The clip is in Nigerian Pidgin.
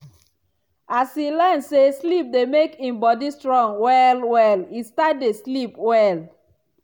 as e learn say sleep dey make e body strong well well e start dey sleep well.